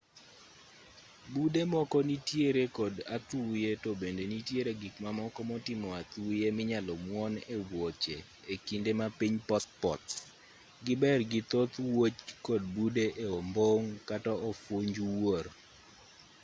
bude moko nitiere kod athuye to bende nitiere gik mamoko motimo athuye minyalo muon e wuoche e kinde ma piny pothpoth giber gi thoth wuoch kod bude e ombong' kata ofunj wuor